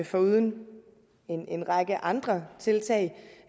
foruden en en række andre tiltag